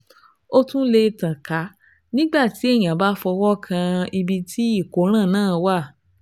Ó tún lè tàn ká nígbà tí èèyàn bá fọwọ́ kan ibi tí ìkóràn náà wà